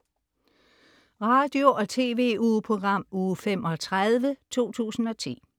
Radio- og TV-ugeprogram Uge 35, 2010